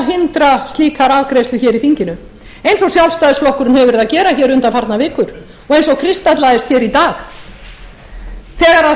reyna að hindra slíka afgreiðslu hér í þinginu eins og sjálfstæðisflokkurinn hefur verið að gera hér undanfarnar vikur og eins og kristallaðist hér í dag þegar